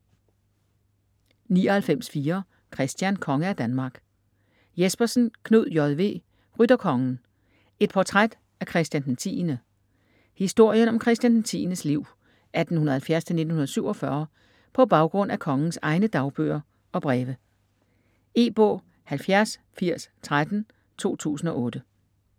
99.4 Christian: konge af Danmark Jespersen, Knud J. V.: Rytterkongen: et portræt af Christian 10. Historien om Christian 10.'s liv (1870-1947) på baggrund af kongens egne dagbøger og breve. E-bog 708013 2008.